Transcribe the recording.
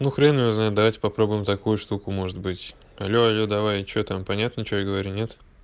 ну хрен её знает давайте попробуем такую штуку может быть але але давай и что там понятно что я говорю нет